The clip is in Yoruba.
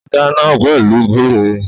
Ó dáná pẹ̀lú gúre